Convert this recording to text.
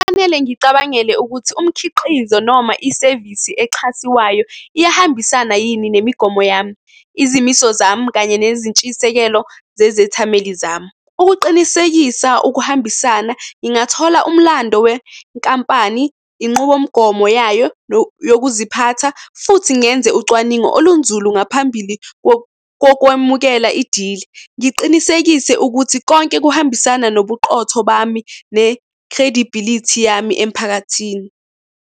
Kufanele ngicabangele ukuthi umkhiqizo noma isevisi exhasiwayo iyahambisana yini nemigomo yami, izimiso zami, kanye nezintshisekelo zezethameli zami. Ukuqinisekisa ukuhambisana, ngingathola umlando wenkampani, inqubomgomo yayo yokuziphatha, futhi ngenze ucwaningo olunzulu ngaphambili kokwamukela i-deal. Ngiqinisekise ukuthi konke kuhambisana nobuqotho bami ne-credibility yami emphakathini.